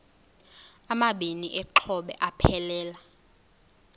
amabini exhobe aphelela